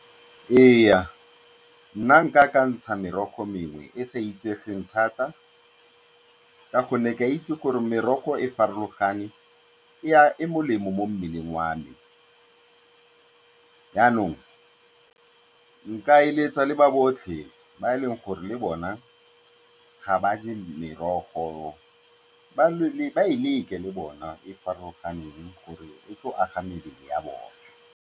Ee, nna ga ke ka ke ka ntsha merogo mengwe e e sa itsegeng thata ka gonne ke a itse gore merogo e farologane, e molemo mo mmeleng wa me. Jaanong, nka eletsa le ba botlhe ba e leng gore le bona ga ba je merogo, ba e leke le bona e e farologaneng gore e tle e age mebele ya bone.